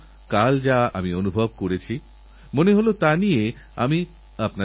যে সমস্ত খেলোয়াড় এই পর্যায়ে এসে পৌঁছন তাঁরা অনেক কঠিনপরিশ্রমের পরই এই জায়গায় এসে পৌঁছন